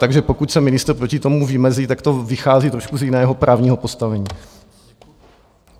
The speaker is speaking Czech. Takže pokud se ministr proti tomu vymezí, tak to vychází trošku z jiného právního postavení.